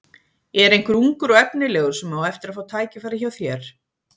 Er einhver ungur og efnilegur sem á eftir að fá tækifæri hjá þér?